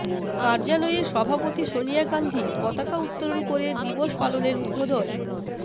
কার্যালয়ে সভাপতি সোনিয়া গান্ধী পতাকা উত্তোলন করে দিবস পালনের উদ্বোধন